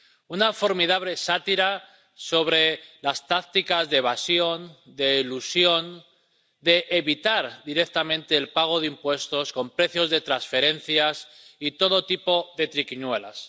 Una formidable sátira sobre las tácticas de evasión y de elusión para evitar directamente el pago de impuestos con precios de transferencias y todo tipo de triquiñuelas.